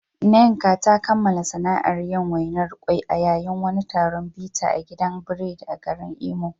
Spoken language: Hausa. Nneka ta kammala sana’ar yin wainar ƙwai a yayin wani taron bita a gudan biredi a garin Imo.